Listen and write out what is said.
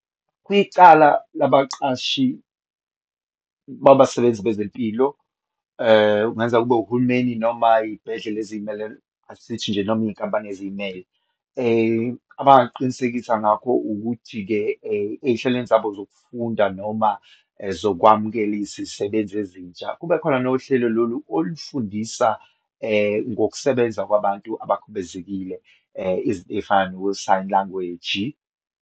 Kuyicala labaqashi babasebenzi bezempilo, kungenzeka kube uhulumeni noma iyibhedlela eziyimele, asithi nje noma iyinkampani eziyimele, abangakuqinisekisa ngakho ukuthi-ke eyihlelweni zabo zokufunda noma zokwamukela izisebenzi ezintsha, kubekhona nohlelo lolu olufundisa ngokusebenza kwabantu abakhubezekile. Izinto eyifana no-sign language.